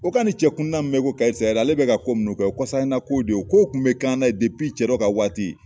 O ka ni cɛ kundan min bɛ ye ko ale bɛ ka ko minnu kɛ o ye kɔsala nakow de ye kow kun bɛ k'an na ye cɛdɔ ka waati.